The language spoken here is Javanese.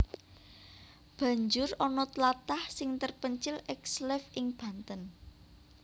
Banjur ana tlatah sing terpencil ekslave ing Banten